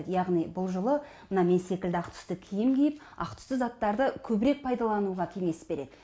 яғни бұл жылы мына мен секілді ақ түсті киім киіп ақ түсті заттарды көбірек пайдалануға кеңес береді